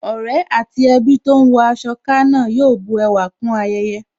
Ọ̀rẹ́ àti ẹbí tó ń wọ aṣọ ká náà yóò bu ẹwà kún ayẹyẹ